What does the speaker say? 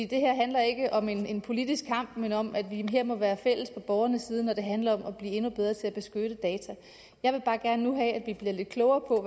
det her handler ikke om en politisk kamp men om at vi her må gøre fælles sag på borgernes side når det handler om at blive endnu bedre til at beskytte data jeg vil bare gerne nu have at vi bliver lidt klogere